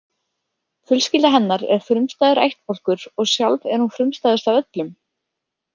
Fjölskylda hennar er frumstæður ættbálkur og sjálf er hún frumstæðust af öllum.